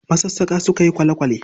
Masassaƙa suka yi kwale-kwale